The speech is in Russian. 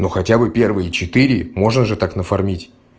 ну хотя бы первые четыре можно же так нафармить